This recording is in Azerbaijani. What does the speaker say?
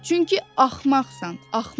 Çünki axmaqsan, axmaq!